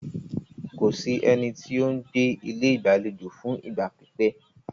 Kò sí ẹni tí o ń gbé ilé ìgbàlejò fún ìgbà pípẹ́.